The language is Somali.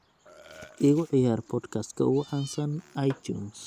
igu ciyaar podcast-ka ugu caansan itunes